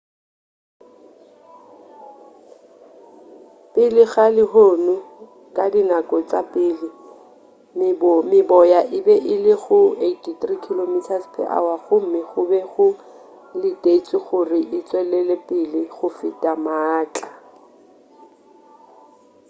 pele ga lehono ka dinako tša pele meboya e be e le go 83 km/h gomme go be go letetšwe gore e tšwelepele go fela maatla